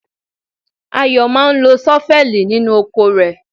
Ayo máa ń lo ṣọ́fẹ́ẹ̀lì nínú oko rẹ̀.